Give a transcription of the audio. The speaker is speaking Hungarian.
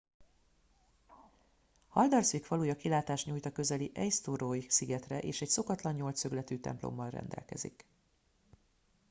haldarsvík faluja kilátást nyújt a közeli eysturoy szigetre és egy szokatlan nyolcszögletű templommal rendelkezik